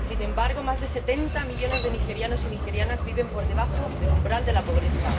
Sin embargo, más de setenta millones de nigerianos y nigerianas viven por debajo del umbral de la pobreza.